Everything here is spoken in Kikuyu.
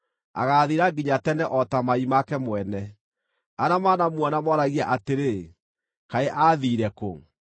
agaathira nginya tene o ta mai make mwene; arĩa manamuona mooragie atĩrĩ, ‘Kaĩ aathiire kũ?’